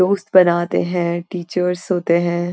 दोस्त बनाते हैं टीचर्स होते हैं।